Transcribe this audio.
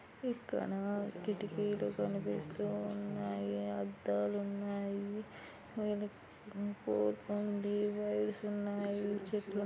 ఇక్కడ కిటికీలు కనిపిస్తూ ఉన్నాయి అద్దాలు ఉన్నాయి వీళ్ల ఉన్నాయి.